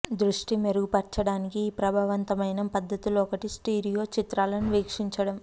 దృష్టి మెరుగుపరచడానికి ఈ ప్రభావవంతమైన పద్ధతుల్లో ఒకటి స్టీరియో చిత్రాలను వీక్షించడం